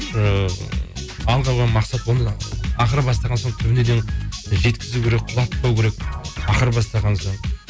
бір ы алға қойған мақсат ақыры бастаған соң түбіне дейін жеткізу керек құлатпау керек ақыры бастаған соң